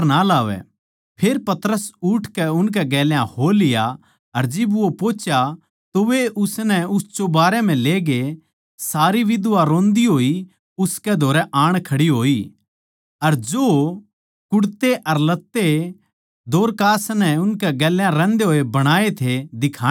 फेर पतरस उठकै उसकै गेल्या हो लिया अर जिब वो पोहुच्या तो वे उसनै उस चौबारे म्ह ले गये सारी बिधवां रोंदी होई उसकै धोरै आण खड़ी होई अर जो कुड़ते अर लत्ते दोरकास नै उनकै गेल्या रहंदे होए बणाए थे दिखाण लाग्गी